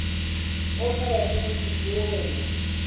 o o sa batleng dipoelo